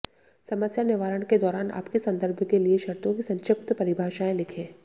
समस्या निवारण के दौरान आपके संदर्भ के लिए शर्तों की संक्षिप्त परिभाषाएं लिखें